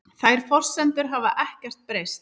Þær forsendur hafi ekkert breyst